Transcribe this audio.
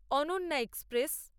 Ananya express